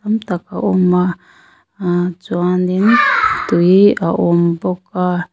tam tak a awm a ahh chuan in tui a awm bawk a.